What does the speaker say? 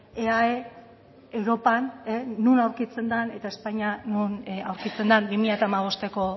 eae europan non aurkitzen den eta espainia non aurkitzen den bi mila hamabosteko